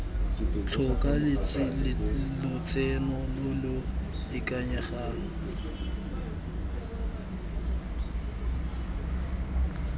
tlhoka lotseno lo lo ikanyegang